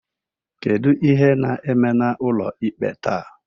kedu ihe na-eme n'ụlọikpe taa?